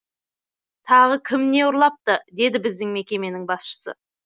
тағы кім не ұрлапты деді біздің мекеменің басшысы